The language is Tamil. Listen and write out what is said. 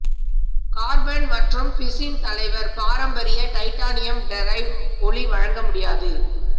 கார்பன் மற்றும் பிசின் தலைவர் பாரம்பரிய டைட்டானியம் டிரைவ் ஒலி வழங்க முடியாது